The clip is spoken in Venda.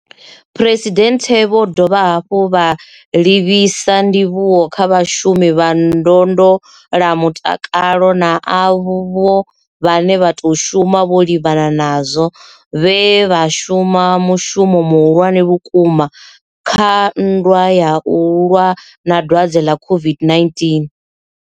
Phresidennde vho dovha hafhu vha livhisa ndivhuwo kha vhashumi vha ndondolamutakalo na avho vhane vha tou shuma vho livhanana nazwo vhe vha shuma mushumo muhulwane vhukuma kha nndwa ya u lwa na dwadze ḽa COVID-19.